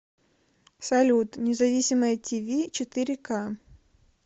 салют независимое ти ви четыре ка